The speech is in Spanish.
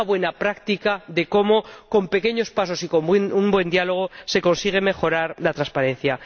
Una buena práctica de cómo con pequeños pasos y con un buen diálogo se consigue mejorar la transparencia.